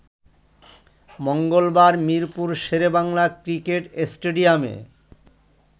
মঙ্গলবার মিরপুর শেরেবাংলা ক্রিকেট স্টেডিয়ামে